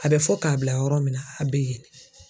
A bɛ fɔ k'a bila yɔrɔ min na a bɛ yen ne.